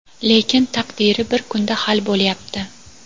lekin taqdiri bir kunda hal bo‘lyapti.